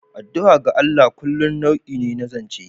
Addu'a ga Allah kullum wani nau'i ne na zance.